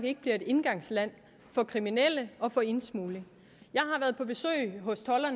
ikke bliver et indgangsland for kriminelle og for indsmugling